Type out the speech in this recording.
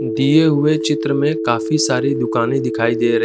दिए हुए चित्र में काफी सारी दुकानें दिखाई दे र--